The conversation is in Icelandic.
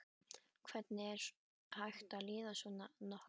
Hvernig er hægt að líða svona nokkuð?